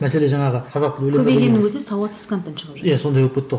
мәселе жаңағы көбейгеннің өзінде сауатсыз контент шығып жатыр иә сондай болып кетті ғой